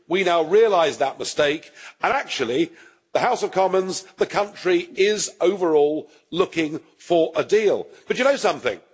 We now realise that mistake and actually, the House of Commons, the country, is overall looking for a deal, but do you know something?